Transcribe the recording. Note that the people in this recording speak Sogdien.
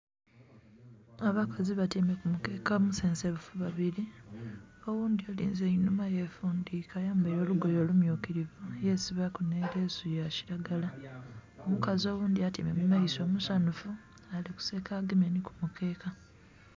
Abakazi batyeime kumukeke omusesemufu babili oghundhi alinze einhuma yefundhike aya mbeli lugoye lummyukilivu yesibaku nhi leesu yakilagala. Omukazi oghundhi atyeime mumaiso musanhufu alikuseka agemye nhi kumukeka.